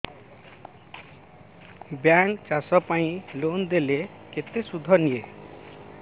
bank ଚାଷ ପାଇଁ loan ଦେଲେ କେତେ ସୁଧ ନିଏ